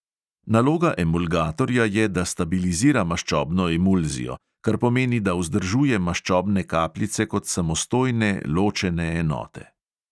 Naloga emulgatorja je, da stabilizira maščobno emulzijo, kar pomeni, da vzdržuje maščobne kapljice kot samostojne ločene enote.